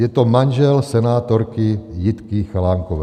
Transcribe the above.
Je to manžel senátorky Jitky Chalánkové.